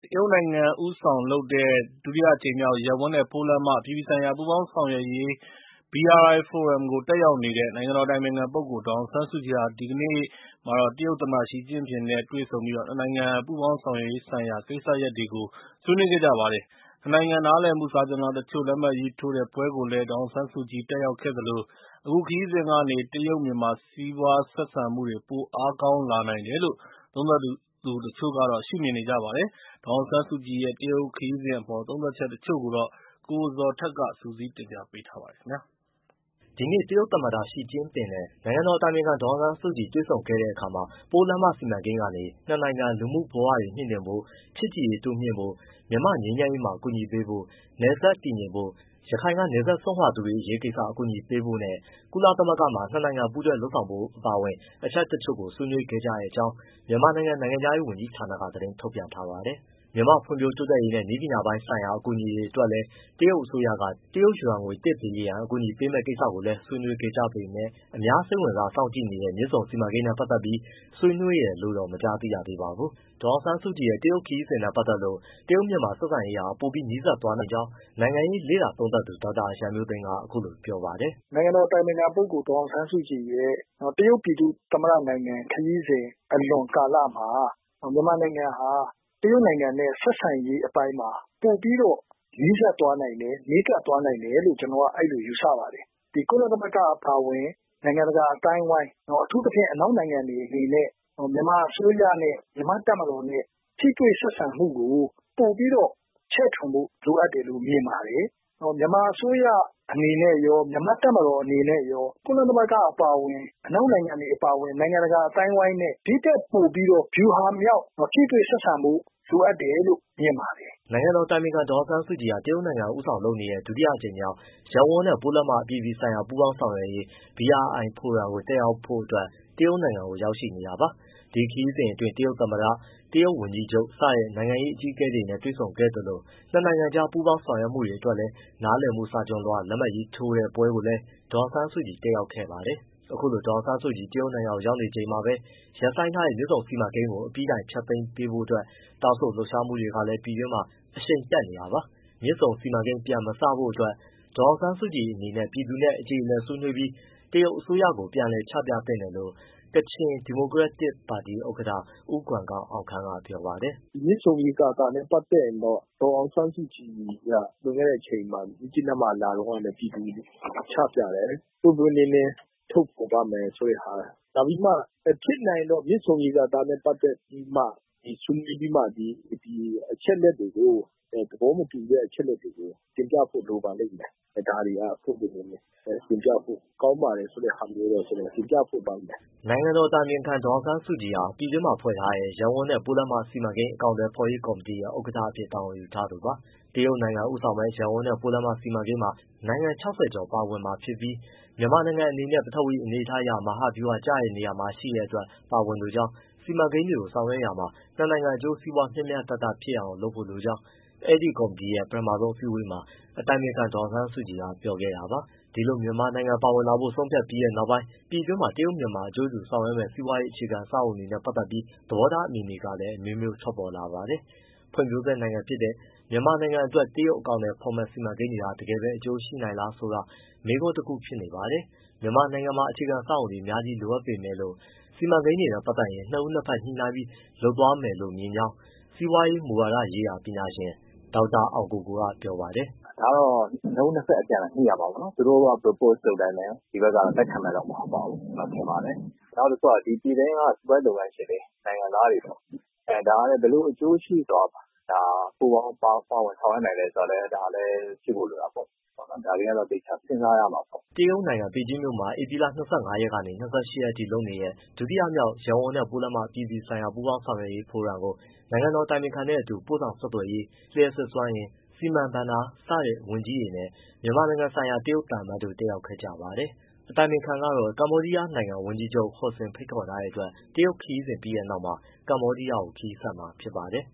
တရုတ်နိုင်ငံဦးဆောင်လုပ်တဲ့ ဒုတိယအကြိမ်မြောက် ရပ်ဝန်းနဲ့ ပိုးလမ်းမ အပြည်ပြည်ဆိုင်ရာ ပူးပေါင်း ဆောင်ရွက်ရေး BRI ဖိုရမ်ကိုတက်ရောက်နေတဲ့ နိုင်ငံတော် အတိုင်ပင်ခံပုဂ္ဂိုလ် ဒေါ်အောင်ဆန်းစုကြည်ဟာ မနေ့က တရုတ်သမ္မတ ရှီကျင်းပင်နဲ့ တွေ့ဆုံပြီး နှစ်နိုင်ငံ ပူးပေါင်းဆောင်ရွက်ရေးဆိုင်ရာ ကိစ္စရပ်တွေကို ဆွေးနွေးခဲ့ကြပါတယ်။ နှစ်နိုင်ငံနားလည်မှု စာချွန်လွှာတချို့ လက်မှတ်ရေးထိုးတဲ့ပွဲကိုလည်း ဒေါ်အောင်ဆန်းစုကြည် တက်ရောက်ခဲ့သလို၊ အခုခရီးစဉ်ကနေ တရုတ်-မြန်မာ စီးပွား ဆက်ဆံမှုတွေ ပိုအားကောင်းလာနိုင်တယ်လို့ သုံးသပ်သူတချို့က ရှုမြင်ကြပါတယ်။ ဒေါ်အောင်ဆန်းစုကြည် တရုတ်ခရီးစဉ်အပေါ် သုံးသပ်ချက်တချို့ကိုတော့ ကိုဇော်ထက်က စုစည်းတင်ပြပေးပါမယ်။ မနေ့က တရုတ်သမ္မတ ရှီကျင့်ပင်နဲ့ နိုင်ငံတော်အတိုင်ပင်ခံပုဂ္ဂိုလ် ဒေါ်အောင်ဆန်းစုကြည် တွေ့ဆုံခဲ့တဲ့အခါမှာ ပိုးလမ်းမစီမံကိန်းကနေ နှစ်နိုင်ငံလူမှုဘဝတွေ မြှင့်တင်ဖို့၊ ချစ်ကြည်ရေးတိုးမြှင့်ဖို့၊ မြန်မာ့ငြိမ်းချမ်းရေးမှာ ကူညီပေးဖို့၊ နယ်စပ်တည်ငြိမ်ဖို့၊ ရခိုင်က နယ်စပ်စွန့်ခွာသူတွေအရေးကိစ္စ ကူညီပေးဖို့နဲ့၊ ကုလသမဂ္ဂမှာ နှစ်နိုင်ငံ ပူးတွဲလုပ်ဆောင်ဖို့ အပါအဝင် အချက်တချို့ကို ဆွေးနွေးခဲ့ကြတဲ့အကြောင်း မြန်မာနိုင်ငံခြားရေးဝန်ကြီးဌာနက သတင်းထုတ်ပြန်ထားပါတယ်။ မြန်မာ့ဖွံ့ဖြိုး တိုးတက်ရေးနဲ့ နည်းပညာပိုင်းဆိုင်ရာ အကူအညီတွေအတွက်လည်း တရုတ်အစိုးရက တရုတ်ယွမ်ငွေ တစ်ဘီလီယံ (ဒေါ်လာသန်း ၁၅၀) ကူညီပေးမယ့်ကိစ္စ ကိုလည်း ဆွေးနွေးခဲ့ကြပေမဲ့၊ အများစိတ်ဝင်စား စောင့်ကြည့်နေတဲ့ မြစ်ဆုံစီမံကိန်းနဲ့ပတ်သက်ပြီး ဆွေးနွေးတယ်လို့တော့ မကြားသိရသေးပါဘူး။ ဒေါ်အောင်ဆန်းစုကြည်ရဲ့ တရုတ်ခရီးစဉ်နဲ့ပတ်သက်လို့ တရုတ်-မြန်မာဆက်ဆံရေးပိုနီးစပ်သွားနိုင်တယ်လို့ မြင်ကြောင်းနိုင်ငံရေးလေ့လာသုံးသပ်သူ ဒေါက်တာရန်မျိုးသိမ်းက ခုလိုပြောပါတယ်။ “နိုင်ငံတော်အတိုင်ပင်ခံရဲ့ တရုတ်ပြည်သူ့သမ္မတနိုင်ငံ ခရီးစဉ်အလွန်ကာလမှာ မြန်မာနိုင်ငံမှာ တရုတ်နိုင်ငံနဲ့ ဆက်ဆံရေးအပိုင်းမှာ ပိုပြီးတော့ နီးစပ်သွားနိုင်တယ်၊ နီးကပ်သွားနိုင်တယ်လို့ ကျနော်ကအဲဒီလိုယူဆပါတယ်။ ကုလသမဂ္ဂအပါအဝင် နိုင်ငံတကာအသိုင်းအဝိုင်း အထူးသဖြင့် အနောက်နိုင်ငံတွေအနေနဲ့ မြန်မာအစိုးရနဲ့ မြန်မာ့တပ်မတော် နဲ့ ထိတွေ့ဆက်ဆံမှုကို ပိုပြီးတော့ ချဲ့ထွင်ဖို့လိုအပ်တယ်လို့ မြင်ပါတယ်။ မြန်မာအစိုးရ အနေနဲ့ရော မြန်မာ့တပ်မတော်အနေ နဲ့ရော ကုလသမဂ္ဂ အပါအဝင် အနောက်နိုင်ငံတွေ အပါအဝင် နိုင်ငံတကာအသိုင်းအဝိုင်းနဲ့ ဒီထက်ပိုပြီးတော့ ဗျူဟာမြောက် ထိတွေ့ဆက်ဆံဖို့လိုအပ်တယ်လို့ မြင်ပါတယ်။” နိုင်ငံတော်အတိုင်ပင်ခံ ဒေါ်အောင်ဆန်းစုကြည်ဟာ တရုတ်နိုင်ငံ ဦးဆောင်လုပ်တဲ့ ဒုတိယအကြိမ်မြောက် ရပ်ဝန်းနဲ့ ပိုးလမ်းမ အပြည်ပြည်ဆိုင်ရာ ပူးပေါင်း ဆောင်ရွက်ရေး BRI ဖိုရမ်ကို တက်ရောက်ဖို့အတွက် တရုတ်နိုင်ငံကို ရောက်ရှိနေတာပါ။ ဒီခရီးစဉ်အတွင်း တရုတ်သမ္မတ၊ တရုတ်ဝန်ကြီးချုပ် စတဲ့ နိုင်ငံအကြီးအကဲတွေနဲ့ တွေ့ဆုံခဲ့သလို၊ နှစ်နိုင်ငံကြား ပူးပေါင်း ဆောင်ရွက်မှုတွေအတွက် နားလည်မှု စာချွန်လွှာတွေ လက်မှတ်ရေးထိုးတဲ့ပွဲကိုလည်း ဒေါ်အောင်ဆန်းစုကြည် တက်ရောက်ခဲ့ပါတယ်။ ခုလို ဒေါ်အောင်ဆန်းစုကြည် တရုတ်နိုင်ငံကို ရောက်ရှိနေချိန်မှာပဲ ရပ်ဆိုင်းထားတဲ့ မြစ်ဆုံစီမံကိန်းကို အပြီးတိုင် ဖျက်သိမ်းပစ်ဖို့အတွက် တောင်းဆိုလှုပ်ရှားမှုတွေ ကလည်း ပြည်တွင်းမှာ အရှိန်တက်နေတာပါ။ မြစ်ဆုံစီမံကိန်း ပြန်မစဖို့ အတွက် ဒေါ်အောင်ဆန်းစုကြည် အနေနဲ့ ပြည်သူနဲ့ အကျေအလည်ဆွေးနွေးပြီး တရုတ်အစိုးရကို ပြန်လည် ချပြသင့်တယ်လို့ ကချင်ဒီမိုကရက်တစ်ပါတီ ဥက္ကဋ္ဌ ဦးကွမ်ဂေါင်အောင်ခမ်း ကပြောပါတယ်။ “မြစ်ဆုံရေကာတာနဲ့ ပတ်သတ်ပြီး ဒေါ်အောင်ဆန်းစုကြည်က လွန်ခဲ့တဲ့အချိန် မြစ်ကြီးနားလာတုန်းက ပြည်သူကိုချပြတယ် ပွင့်ပွင့်လင်းလင်းထုတ်ဖော်ပါ့မယ်ဆိုတဲ့ဟာ နောက်ပြီးမှ ဖြစ်နိုင်ရင်တော့ မြစ်ဆုံရေကာနဲ့ ပတ်သတ်ပြီး ဆွေးနွေးပြီးမှ အချက်အလက်တွေကို၊ သဘောမတူတဲ့အချက်အလက်တွေကို တင်ပြဖို့လိုပါလိမ့်မယ်။ ဒါတွေဟာ ပွင့်ပွင့်လင်းလင်း တင်ပြဖို့ ကောင်းပါတဲ့ဆိုတဲ့ဟာမျိုး ကျနော် တင်ပြလိုပါတယ်။” နိုင်ငံတော်တိုင်ပင်ခံပုဂ္ဂိုလ် ဒေါ်အောင်ဆန်းစုကြည်ဟာ ပြည်တွင်းမှာဖွဲ့ထားတဲ့ ရပ်ဝန်းနဲ့ ပိုးလမ်းမစီမံကိန်း အကောင်အထည်ဖော်ရေး ကော်မတီရဲ့ ဥက္ကဋ္ဌအဖြစ် တာဝန်ယူထားသူပါ။ တရုတ်နိုင်ငံ ဦးဆောင်မယ့် ရပ်ဝန်းနဲ့ ပိုးလမ်းမ စီမံကိန်းမှာ နိုင်ငံ ၆၀ကျော်ပါဝင်မှာဖြစ်ပြီး မြန်မာနိုင်ငံအနေနဲ့ ပထဝီအနေအထားအရ မဟာဗျူဟာကျတဲ့ နေရာမှာ ရှိတဲ့အတွက် ပါဝင်လိုကြောင်း၊ စီမံကိန်းတွေကိုဆောင်ရွက်ရမှာ နှစ်နှိင်ငံအကျိုး စီးပွားမျှမျှတတဖြစ်အောင် လိုအပ်ကြောင်း အဲဒီကော်မတီရဲ့ ပထမဆုံးအစည်းအဝေးမှာ အတိုင်ပင်ခံ ဒေါ်အောင်ဆန်းစုကြည်က ပြောခဲ့တာပါ။ ဒီလို မြန်မာနိုင်ငံပါဝင်လာဖို့ ဆုံးဖြတ်ပြီးတဲ့ နောက်ပိုင်း ပြည်တွင်းမှာ တရုတ်-မြန်မာအကျိုးတူ ဆောင်ရွက်မယ့် စီးပွားရေး အခြေခံအဆောက်အအုံတွေ နဲ့ပတ်သတ် သဘောထားအမြင်တွေလည်း အမျိုးမျိုးထွက်ပေါ်လာပါတယ်။ ဖွံ့ဖြိုးဆဲ နိုင်ငံဖြစ်တဲ့ မြန်မာနိုင်ငံအတွက် တရုတ်အကောင်အထည်ဖော်မယ့် စီမံကိန်းတွေဟာ တကယ်ပဲ အကျိုးရှိနိုင်လားဆိုတာ မေးခွန်းတခုဖြစ်နေပါတယ်။ မြန်မာနိုင်ငံမှာအခြေခံ အဆောက်အုံတွေ အများကြီးလိုအပ်နေပေမဲ့လို့ စီမံကိန်းတွေနဲ့ ပတ်သတ်ရင်နှစ်ဦး နှစ်ဘက်ညှိနှိုင်းပြီးမှ လုပ်သွားမယ်လို့မြင်ကြောင်း စီးပွားရေးမူဝါဒရေးရာ ပညာရှင် ဒေါက်တာအောင်ကိုကို ကပြောပါတယ်။ “ဒါကတော့ နှစ်ဦးနှစ်ဘက်အပြန်အလှန် ညှိရမှာပေါ့နော် သူတို့က propose လုပ်တိုင်းလည်း လက်ခံမယ်မဟုတ်ပါဘူး ကျနော်ထင်ပါတယ်။ နောက်ပြီးတော့ ပြည်တွင်းက စီးပွားရေးလုပ်ငန်းရှင်တွေ နိုင်ငံသားတွေ ဒါကလည်း ဘယ်လိုအကျိုးရှိသွားမှာလဲ ဘယ်လို ပါဝင်ဆောင်ရွက်နိုင်မှာလဲ ဆိုတာကလည်း ဒါလည်းဖြစ်ဖို့လိုတာပေါ့။ ဒါတွေကသေချာစဉ်းစားရမှာပေါ့။” တရုတ်နိုင်ငံ ပေကျင်းမြို့ မှာ ဧပြီလ ၂၅ရက်ကနေ ၂၈ရက်ထိလုပ်နေတဲ့ ဒုတိယမြောက် ရပ်ဝန်းနဲ့ပိုးလမ်းမ အပြည်ပြည်ဆိုင်ရာပူးပေါင်းဆောင်ရွက်ရေး ဖိုရမ်ကို နိုင်ငံတော်အတိုင်ပင်ခံနဲ့အတူ ပို့ဆောင်ဆက်သွယ်ရေး၊ လျှပ်စစ်စွမ်းအင်၊ စီးပွားကူသန်း၊ စီမံဘဏ္ဍာဝန်ကြီးတွေနဲ့ မြန်မာနိုင်ငံဆိုင်ရာတရုတ်သံအမတ်တို့ တက်ရောက်နေကြပါတယ်။ အတိုင်ပင်ခံကတော့ ကမ္ဘောဒီယားနိုင်ငံဝန်ကြီးချုပ် ဟွန်ဆင် ဖိတ်ခေါ်ထားတဲ့အတွက် တရုတ်ခရီးစဉ်ပြီးတဲ့နောက်မှာ ကမ္ဘောဒီးယားကို ခရီးဆက်မှာဖြစ်ပါတယ်